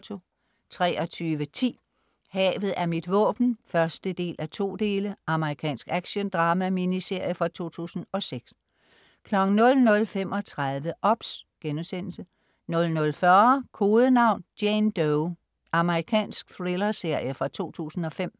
23.10 Havet er mit våben 1:2 Amerikansk actiondrama-miniserie fra 2006 00.35 OBS* 00.40 Kodenavn: Jane Doe. Amerikansk thriller-serie fra 2005